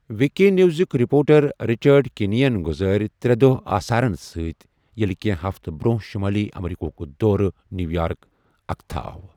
وکی نیوٕزُک reporter Richard کنی یَن گُزٲرے ترٛےٚ دۄہ آثارَن سۭتۍ ییٚلہِ کینٛہہ ہفتہٕ برٛونٛہہ شُمٲلی امریکہُک دورٕ نیویارک، اتھکا آو۔